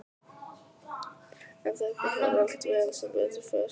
En þetta fór allt vel, sem betur fer.